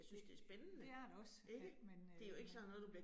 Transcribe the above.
Det det er det også, men øh men